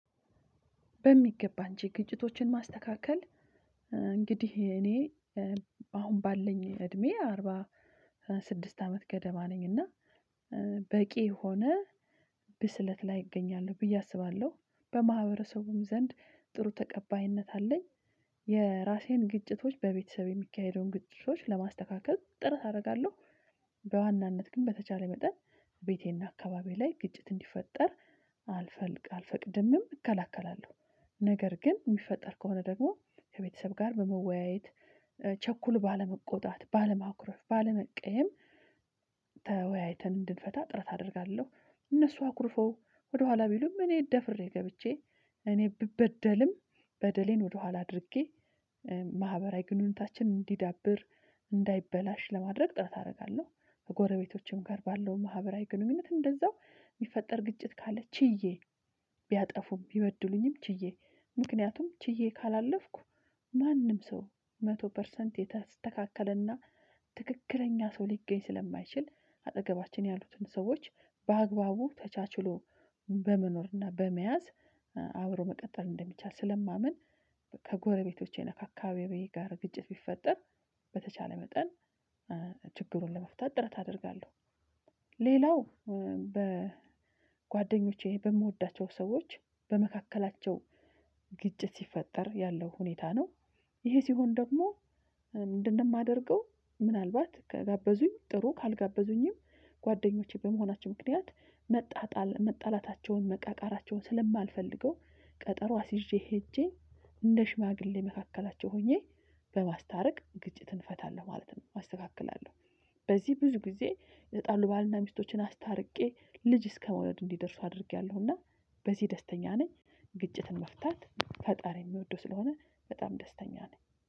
በሚገባ አንቺ ግጭቶችን ማስተካከል። እንግዲህ እኔ አሁን ባለኝ እድሜ አሮባ ስድስት አመት ገደማ ነኝ። እና በቂ ሆነ ብስለት ላይ እገኛለሁ ብዬ አስባለሁ በማህበረሰቡም ዘንድ ጥሩ ተቀባይነት አለኝ። የራሴን ግጭቶች በቤተሰብ የሚካሄደውን ግጭቶች ለማስተካከል ጥረት አደርጋለሁ። በዋናነት ግን በተቻለ መጠን ቤቴና አካባቢዬ ላይ ግጭት እንዲፈጠር አልፈቅድምም እከላከላለሁ። ነገር ግን የሚፈጠር ከሆነ ደግሞ ከቤተሰብ ጋር በመወያየት ቸኩል ባለመቆጣት ባለማኩረፍ ባለመቀየም ተወያይተን እንድንፈታ ጥረት አደርጋለሁ። እነሱ አኩርፈው ወደኋላ ቢሉም እኔ ደፍሬ ገብቼ እኔ ብበደልም በደሌን ወደኋላ አድርጌ ማህበራዊ ግንኙነታችን እንዲዳብር እንዳይበላሽ ለማድረግ ጥረት አደርጋለሁ። ከጎረቤቶችም ጋር ባለው ማህበራዊ ግንኙነት እንደዛው የሚፈጠር ግጭት ካለ ችዬ ቢያጠፉም ቢበድሉኝም ችዬ ምክንያቱም ችዬ ካላለፍኩ ማንም ሰው መቶ ፐርሰንት የተስተካከለና ትክክለኛ ሰው ሊገኝ ስለማይችል አጠገባችን ያሉትን ሰዎች በአግባቡ ተቻችሎ በመኖርና በመያዝ አብሮ መቀጠል እንደሚቻል ስለማምን። ከጎረቤቶቼ ከአካባቢዬ ጋር ግጭት ቢፈጠር በተቻለ መጠን ችግሩን ለመፍታት ጥረት አደርጋለሁ። ሌላው በጓደኞቼ በምወዳቸው ሰዎች በመካከላቸው ግጭት ሲፈጠር ያለው ሁኔታ ነው ይሄ ሲሆን ደግሞ እንደማደርገው ምናልባት ከጋበዙኝ ጥሩ ካልጋበዙኝም ጓደኞቼ በመሆናቸው ምክንያት መጣጣል መጣላታቸውን መቃቃራቸውን ስለማልፈልገው ቀጠሮ አስይዤ ሄጄ እንደ ሽማግሌ መካከላቸው ሆኜ በማስታረቅ ግጭትን እፈታለሁ ማለት ነው። ማስተካከል አለው በዚህ ብዙ ጊዜ የተጣሉ ባልና ሚስቶችን አስታርቄ ልጅ እስከመውለድ እንዲደርሱ አድርጌያለሁና በዚህ ደስተኛ ነኝ። ግጭትን መፍታት ፈጣሪ የሚወዱ ስለሆነ በጣም ደስተኛ ነኝ